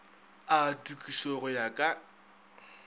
a tokišo go ya ka